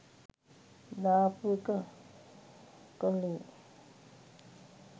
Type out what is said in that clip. දාපු එක කලේ